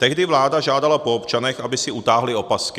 Tehdy vláda žádala po občanech, aby si utáhli opasky.